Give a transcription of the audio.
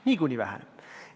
Niikuinii väheneb!